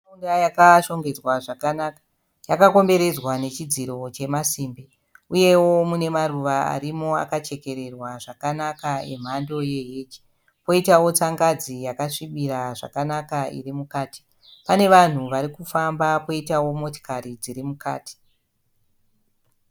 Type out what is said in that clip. Imba yakashongedzwa zvakanaka, yakakomberedzwa nechidziro chemasimbi uyewo munemaruva arimo akachekererwa zvakanaka emhando yehej. Poitawo tsangadzi yakasvibira zvakanaka irimukati. Panevanhu varikufamba poitawo motikari dzirimukati.